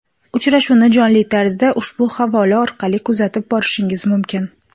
Uchrashuvni jonli tarzda ushbu havola orqali kuzatib borishingiz mumkin.